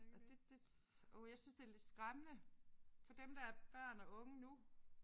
Og det det åh jeg synes det er lidt skræmmende for dem der er børn og unge nu